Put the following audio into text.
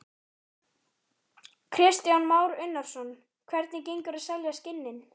Kristján Már Unnarsson: Hvernig gengur að selja skinnin?